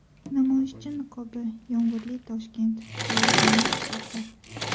Namoyishchi niqobi, yomg‘irli Toshkent, soyabonli chiroqlar.